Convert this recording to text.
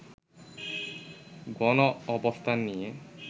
গনঅবস্থান নিয়ে